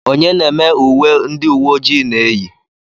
onye na-eme uwe ndị uwe ojii na-eyi